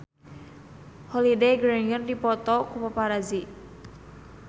Holliday Grainger dipoto ku paparazi